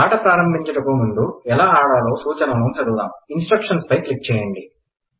ఆట ప్రారంభిచుటకు ముందు ఎలా ఆడాలో సూచనలు చదువుదాం ఇన్ స్ట్రక్ షన్ క్లిక్ చేయండి